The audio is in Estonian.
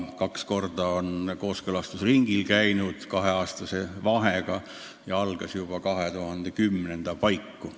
Kaks korda on see kaheaastase vahega kooskõlastusringil käinud, töö algas aga juba 2010. aasta paiku.